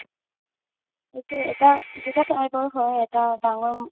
এইটো এটা দুটা type ৰ হয় এটা ডাঙৰ